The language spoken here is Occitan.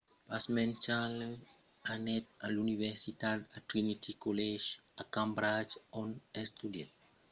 pasmens charles anèt a l'universitat a trinity college a cambridge ont estudièt antropologia e arqueologia puèi istòria e obtenguèt un 2:2 un diplòma mai bas de segonda classa